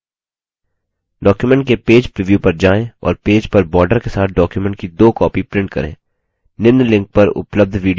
document के page preview पर जाएँ और पेज पर borders के साथ document की दो copies print करें